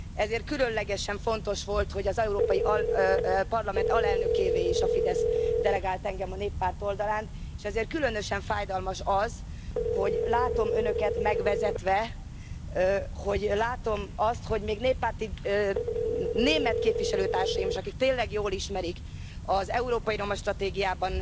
Ezért különlegesen fontos volt, hogy az Európai Parlament alelnökévé is a Fidesz delegált engem a Néppárt oldalán. És ezért különösen fájdalmas az, hogy látom Önöket megvezetve, még néppárti német képviselőtársaimat is, akik tényleg jól ismerik az európai roma stratégiában